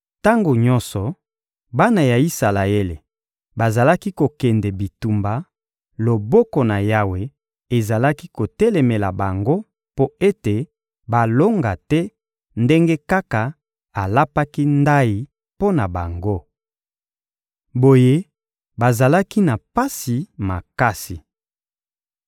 Tango nyonso bana ya Isalaele bazalaki kokende bitumba, loboko na Yawe ezalaki kotelemela bango mpo ete balonga te, ndenge kaka alapaki ndayi mpo na bango. Boye bazalaki na pasi makasi.